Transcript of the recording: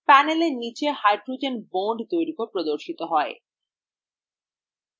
panel নীচে hydrogen bond দৈর্ঘ্য প্রদর্শিত হয়